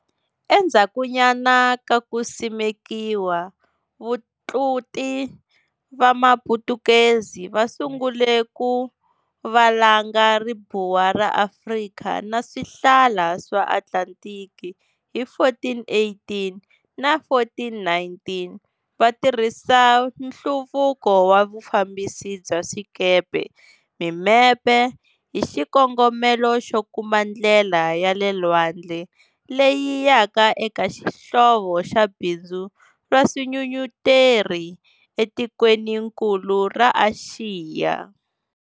Endzhakunyana ka kusimekiwa, vatluti va Maputukezi va sungule ku valanga ribuwa ra Afrika na swihlala swa Atlanthiki hi 1418 na 1419, va tirhisa nhluvuko wa vufambisi bya swikepe, mimepe, hi xikongomelo xo kuma ndlela ya le lwandle leyi yaka eka xihlovo xa bindzu ra swinyunyeteri etikweninkulu ra Axiya.